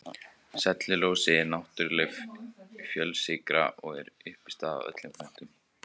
Sellulósi er náttúrleg fjölsykra og er uppistaðan í öllum plöntum.